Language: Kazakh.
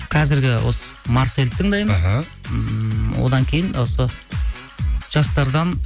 қазіргі осы марсельді тыңдаймын іхі ммм одан кейін осы жастардан